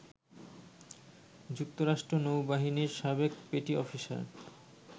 যুক্তরাষ্ট্র নৌবাহিনীর সাবেক পেটি অফিসার